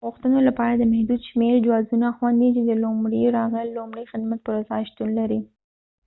د غوښتنو لپاره د محدود شمیر جوازونه خوندي دي چې د لومړی راغلل لومړی خدمت پر اساس شتون لري